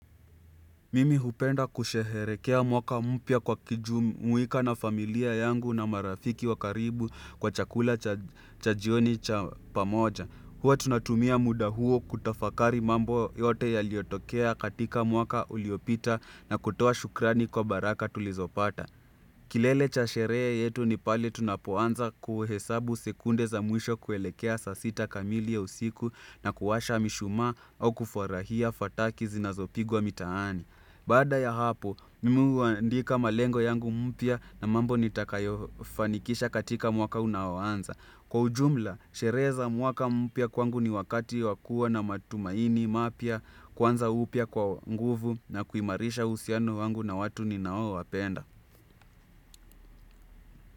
Mimi hupenda kusheherekea mwaka mpya kwa kujumuika na familia yangu na marafiki wa karibu kwa chakula cha jioni cha pamoja. Huwa tunatumia muda huo kutafakari mambo yote ya liotokea katika mwaka uliopita na kutoa shukrani kwa baraka tulizopata. Kilele cha sherehe yetu ni pale tunapoanza kuhesabu sekunde za mwisho kuelekea saa sita kamili ya usiku na kuwasha mishuma au kufurahia fataki zinazopigwa mitaani. Baada ya hapo, mimi huandika malengo yangu mpya na mambo nitakayofanikisha katika mwaka unaoanza. Kwa ujumla, sherehe za mwaka mpya kwangu ni wakati wa kua na matumaini mapya, kwanza upya kwa nguvu na kuimarisha uhusiano wangu na watu ni nao wapenda.